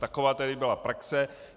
Taková tedy byla praxe.